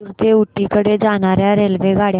म्हैसूर ते ऊटी कडे जाणार्या रेल्वेगाड्या